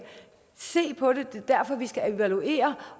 se på det og det er derfor vi skal evaluere